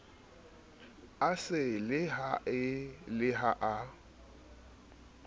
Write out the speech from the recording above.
a selehae le ha e